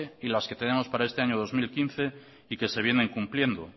y que las que tenemos para este año dos mil quince y que se vienen cumpliendo